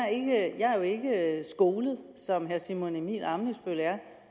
er jo ikke skolet som herre simon emil ammitzbøll er